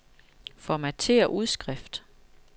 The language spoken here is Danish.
Formatér udskrift.